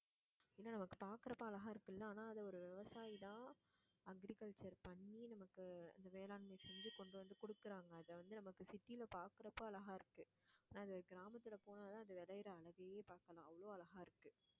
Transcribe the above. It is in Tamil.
ஏன்னா, நமக்கு பாக்கறப்ப அழகா இருக்குல்ல ஆனா அது ஒரு விவசாயிதான் agriculture பண்ணி நமக்கு இந்த வேளாண்மை செஞ்சு கொண்டு வந்து குடுக்குறாங்க. அதை வந்து நமக்கு city யில பாக்குறப்ப அழகா இருக்கு. அதை கிராமத்துல போனாதான் அந்த விளையிற அழகையே பாக்கலாம் அவ்ளோ அழகா இருக்கு